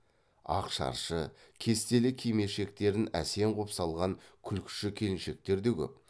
ақ шаршы кестелі кимешектерін әсем ғып салған күлкіші келіншектер де көп